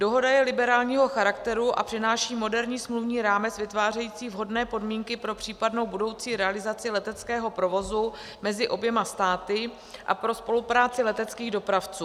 Dohoda je liberálního charakteru a přináší moderní smluvní rámec vytvářející vhodné podmínky pro případnou budoucí realizaci leteckého provozu mezi oběma státy a pro spolupráci leteckých dopravců.